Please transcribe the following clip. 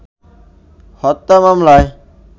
হত্যা মামলায়